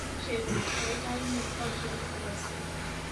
Chebet, kaikai nei kocheru KFC